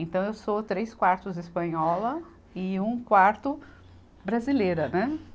Então eu sou três quartos espanhola e um quarto brasileira, né?